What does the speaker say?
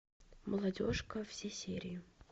молодежка все серии